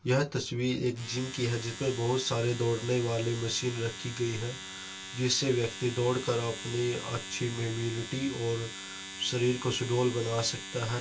यह तस्वीर एक जिम की है जिसमें बहुत सारे दौड़ने वाले मशीन रखी गई है जिससे व्यक्ति दौड़ कर अपनी अच्छी इम्यूनिटी और शरीर को सुडौल बन सकता है ।